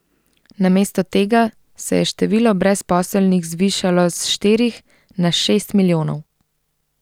Namesto tega se je število brezposelnih zvišalo s štirih na šest milijonov.